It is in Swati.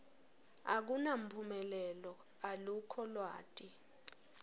akunamphumelelo alukho lwati